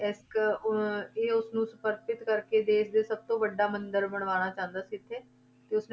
ਇੱਕ ਉਹ ਇਹ ਉਸਨੂੰ ਸਮਰਪਿਤ ਕਰਕੇ ਦੇਸ ਦੇ ਸਭ ਤੋਂ ਵੱਡਾ ਮੰਦਿਰ ਬਣਾਉਣਾ ਚਾਹੁੰਦਾ ਸੀ ਇੱਥੇ ਤੇ ਉਸਨੇ,